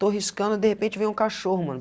estou riscando e de repente vem um cachorro, mano.